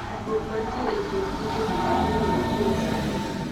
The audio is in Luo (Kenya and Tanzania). tudruod manitie e kind tuochegi ok ong'ere kuom sani